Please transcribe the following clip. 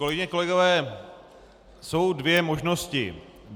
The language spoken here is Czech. Kolegyně, kolegové, jsou dvě možnosti.